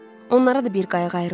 Onlara da bir qayıq ayrıldı.